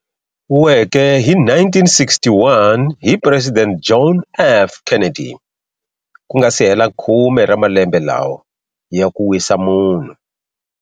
Weke hi 1961 hi Presidente John F. Kennedy, ku nga si hela khume ra malembe lawa, ya ku wisa munhu.